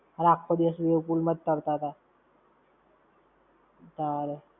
અરે આખો દિવસ wave pool માં જ ફરતાતા! તારે!